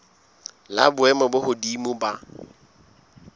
la boemo bo hodimo la